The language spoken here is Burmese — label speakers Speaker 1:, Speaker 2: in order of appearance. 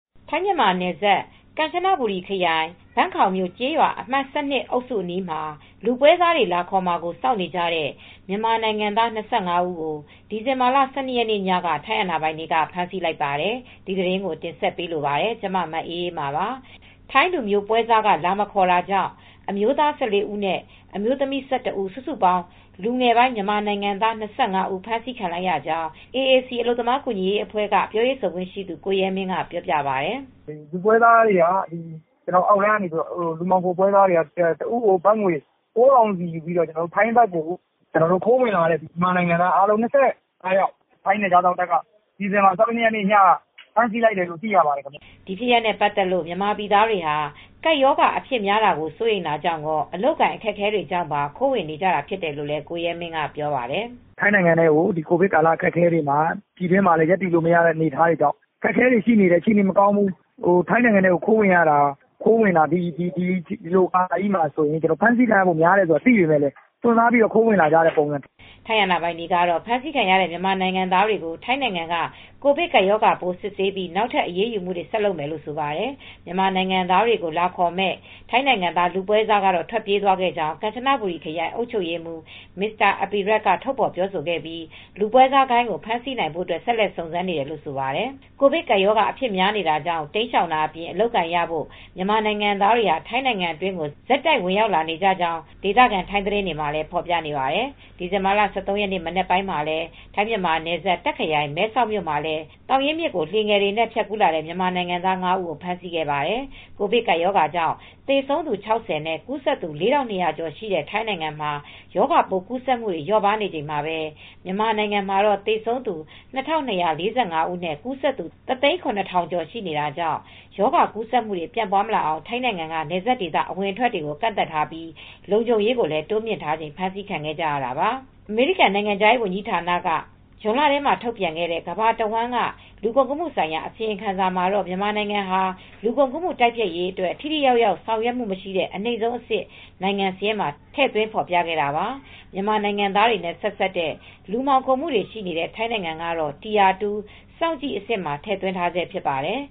Speaker 1: ထိုင်း-မြန်မာနယ်စပ် ကန်ချနဘူရီခရိုင် Ban Kao မြို့ ကျေးရွာအမှတ် ၁၂ အုပ်စုအနီးမှာ လူပွဲစားလာခေါ်မှာကို စောင့်နေကြတဲ့ မြန်မာနိုင်ငံသား ၂၅ ဦးကို ဒီဇင်ဘာလ ၁၂ ရက်ညက ထိုင်းအာဏာပိုင်တွေက ဖမ်းဆီးလိုက်ပါတယ်။ အပြည့်အစုံကို ထိုင်းအခြေစိုက် ဗွီအိုအေမြန်မာပိုင်း သတင်းထောက် မအေးအေးမာ တင်ပြပေးထားပါတယ်။ ထိုင်းလူမျိုးပွဲစားက လာမခေါ်တာကြောင့် အမျိုးသား ၁၄ ဦးနဲ့ အမျိုးသမီး ၁၁ ဦး စုစုပေါင်း လူငယ်ပိုင်း မြန်မာနိုင်ငံသား ၂၅ ဦး ဖမ်းဆီးခံလိုက်ရေကြောင်း AAC အလုပ်သမားကူညီရေးအဖွဲ့က ပြောရေးဆိုခွင့်ရှိသူ ကိုရဲမင်းက ပြောပါတယ်
Speaker 2: ။ “လူမှောင်ခိုပွဲစားတွေက အောက်လမ်းကနေ တဦးကို ဘတ်ငွေ ၉,၀၀၀ ယူပြီး ထိုင်းဘက်ကိုဝင်လာတဲ့ မြန်မာနိုင်ငံသား ၂၅ ယောက်ကို ထိုင်းနယ်ခြားစောင့်တပ်က ဒီဇင်ဘာလ ၁၂ ရက်နေ့က ဖမ်းဆီးလိုက်တယ်လို့ သိရပါတယ်။
Speaker 1: ” ဒီဖြစ်ရပ်နဲ့ပတ်သက်လို့ မြန်မာပြည်သားတွေဟာ ကပ်ရောဂါ အဖြစ်များတာကို စိုးရိမ်တာရော အလုပ်အကိုင် အခက်အခဲတွေကြောင့်ပါ ခိုးဝင်နေကြတာဖြစ်တယ်လို့ ကိုရဲမင်းက ပြောပါတယ်။
Speaker 2: “ထိုင်းနိုင်ငံထဲကို ကိုဗစ်ကာလ အခက်အခဲတွေမှာ မြန်မာပြည်တွင်းမှာ ရပ်တည်လို့လည်း မရတဲ့ အနေအထားတွေကြောင့် ဒီလိုကာလကြီးတွေမှာ ခိုးဝင်ရင် ဒီဘက်မှာ ထိုင်းဘက်က ဖမ်းဆီးခံရမှာကို သိသိကြီးနဲ့ အခြေအနေမကောင်းတဲ့ကြားက အခက်အခဲတွေကြောင့် ခိုးဝင်နေကြတာပါ။”
Speaker 1: ထိုင်းအာဏာပိုင်တွေကတော့ ဖမ်းဆီးခံရတဲ့ မြန်မာနိုင်ငံသားတွေကို ထိုင်းနိုင်ငံက ကိုဗစ်ကပ်ရောဂါပိုး စစ်ဆေးပြီး နောက်ထပ်အရေးယူမှုတွေ ဆက်လုပ်မယ်လို့ ဆိုပါတယ်။ မြန်မာနိုင်ငံသားတွေကို လာခေါ်မယ့် ထိုင်းနိုင်ငံသား လူပွဲစားကတော့ ထွက်ပြေးသွားခဲ့ကြောင်း ကန်ချနဘူရီခရိုင် အုပ်ချုပ်ရေးမှူး Mr. Apirat က ထုတ်ဖော်ပြောဆိုခဲ့ပြီး လူပွဲစားဂိုဏ်း ဖမ်းဆီးနိုင်ဖို့ ဆက်လက်စုံစမ်းနေတယ်လို့ ဆိုပါတယ်။ ကိုဗစ်ကပ်ရောဂါ အဖြစ်များနေတာကြောင့် တိမ်းရှောင်တာအပြင် အလုပ်အကိုင်ရဖို့ မြန်မာနိုင်ငံသားတွေဟာ ထိုင်းနိုင်ငံအတွင်းကို ဆက်တိုက်ဝင်ရောက်လာနေတဲ့အကြောင်း ထိုင်းသတင်းတွေမှာ ဖော်ပြနေပါတယ်။ ဒီဇင်ဘာလ ၁၃ ရက်နေ့ မနက်ပိုင်းမှာလည်း ထိုင်း-မြန်မာနယ်စပ် တာခ့်ခရိုင် မဲဆောက်မြို့မှာလည်း သောင်ရင်းမြစ်ကို လှေငယ်တွေနဲ့ ဖြတ်ကူးလာတဲ့ မြန်မာနိုင်ငံသား ၅ ဦးကို ဖမ်းဆီးခဲ့ပါတယ်။ ကိုဗစ်ကပ်ရောဂါကြောင့် သေဆုံးသူ ၆၀ နဲ့ ကူးစက်သူ ၄,၂၀၀ ကျော်ရှိတဲ့ ထိုင်းနိုင်ငံမှာ ရောဂါပိုးကူးစက်မှုတွေ လျော့ပါးနေချိန်မှာပဲ မြန်မာနိုင်ငံမှာတော့ သေဆုံးသူ ၂,၂၄၅ ဦးနဲ့ ကူးစက်သူ ၁၀၇,၀၀၀ ကျော် ရှိနေတာကြောင့် ရောဂါကူးစက်မှုတွေ ပြန့်ပွားမလာအောင် ထိုင်းနိုင်ငံက နယ်စပ်ဒေသ အဝင်အထွက်တွေနဲ့ ကန့်သတ်ထားပြီး လုံခြုံရေးကိုလည်း တိုးမြှင့်ထားချိန်မှာ ဖမ်းဆီးခံရတာပါ။ အမေရိကန် နိုင်ငံခြားရေးဝန်ကြီးဌာနက ဇွန်လထဲမှာ ထုတ်ပြန်ခဲ့တဲ့ ကမ္ဘာတဝန်းက လူကုန်ကူးမှုဆိုင်ရာ အစီရင်ခံစာမှာတော့ မြန်မာနိုင်ငံဟာ လူကုန်ကူးမှု တိုက်ဖျက်ရေးအတွက် ထိထိရောက်ရောက် ဆောင်ရွက်မှုမရှိတဲ့ အနိမ့်ဆုံးအဆင့် နိုင်ငံစာရင်းမှာ ထည့်သွင်းဖော်ပြခဲ့တာပါ။ မြန်မာနိုင်ငံသားတွေနဲ့ ဆက်စပ်တဲ့ လူမှောင်ခိုမှုတွေရှိနေတဲ့ ထိုင်းနိုင်ငံကတော့ tire 2 စောင့်ကြည့်အဆင့်မှာ ထည့်သွင်းထားဆဲ ဖြစ်ပါတယ်